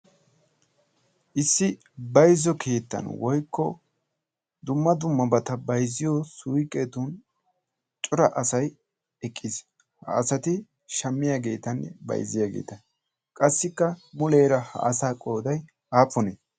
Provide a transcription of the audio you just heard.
issi bayzzo keyttan woykko dumma dumma bata bayzziyo suyqqetun cura asay eqqiis. ha asati shammiyaageetanne bayzziyaageeta qassikka muleera ha asa qooday aappunee?